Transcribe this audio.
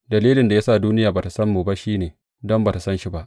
Dalilin da ya sa duniya ba tă san mu ba shi ne, don ba tă san shi ba.